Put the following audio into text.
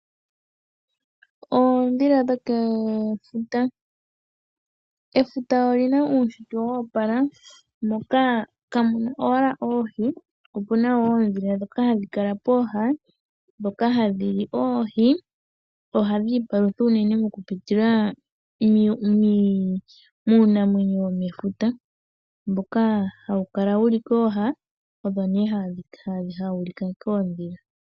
Oondhila dhokefuta, efuta olina uushitwe wopala moka ka muna owala oohi ihe opuna wo oondhila dhoka hadhi kala poha dhoka hadhi li oohi nohadhi ipalutha unene moku pitila muunamwenyo womefuta mboka hawu kala wuli kooha owo ne hawu liwa koondhila.